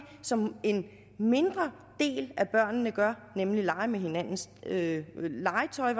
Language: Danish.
som en mindre del af børnene gør nemlig lege med hinandens legetøj